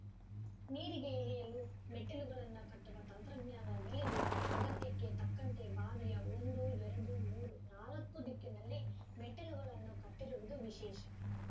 ನೀರಿಗೆ ಇಳಿಯಲು ಮೆಟ್ಟಿಲುಗಳನ್ನು ಕಟ್ಟುವ ತಂತ್ರಜ್ಞಾನ ಬೆಳೆದು ಅಗತ್ಯಕ್ಕೆ ತಕ್ಕಂತೆ ಬಾವಿಯ ಒಂದು ಎರಡು ಮೂರು ನಾಲ್ಕ ದಿಕ್ಕಿನಲ್ಲಿ ಮೆಟ್ಟಿಲುಗಳನ್ನು ಕಟ್ಟಿರುವುದು ವಿಶೇಷ